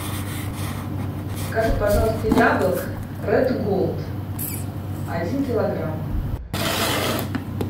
закажи пожалуйста яблок ред голд один килограмм